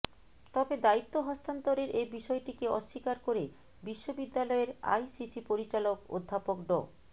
তবে দায়িত্ব হস্তান্তরের এ বিষয়টিকে অস্বীকার করে বিশ্ববিদ্যালয়ের আইসিসি পরিচালক অধ্যাপক ড